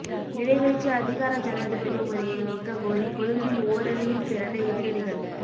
நிறைவேற்று அதிகார ஜனாதிபதி முறையை நீக்க கோரி கொழும்பில் ஓரணியில் திரண்ட எதிரணிகள்